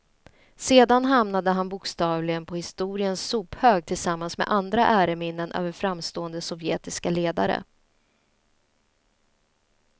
Sedan hamnade han bokstavligen på historiens sophög tillsammans med andra äreminnen över framstående sovjetiska ledare.